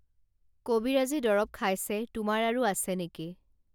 কবিৰাজী দৰৱ খাইছে তোমাৰ আৰু আছে নেকি